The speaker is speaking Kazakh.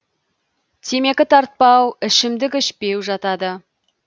темекі тартпау ішімдік ішпеу жатады